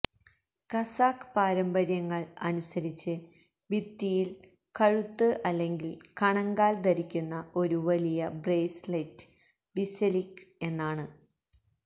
കസാഖ് പാരമ്പര്യങ്ങൾ അനുസരിച്ച് ഭിത്തിയിൽ കഴുത്ത് അല്ലെങ്കിൽ കണങ്കാൽ ധരിക്കുന്ന ഒരു വലിയ ബ്രേസ്ലെറ്റ് ബിസെലിക് എന്നാണ്